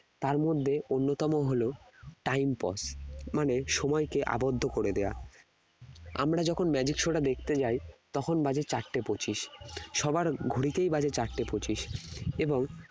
তার মধ্যে অন্যতম হলো time pause মানে সময়কে আবদ্ধ করে দেওয়া আমরা যখন magic show টা দেখতে যাই তখন বাজে চারটে পঁচিশ সবার ঘড়িতেই বাজে চারটে পঁচিশ এবং